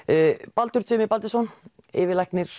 Baldur Tumi Baldursson yfirlæknir